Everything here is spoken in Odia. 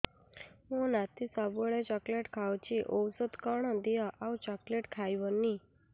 ମୋ ନାତି ସବୁବେଳେ ଚକଲେଟ ଖାଉଛି ଔଷଧ କଣ ଦିଅ ଆଉ ଚକଲେଟ ଖାଇବନି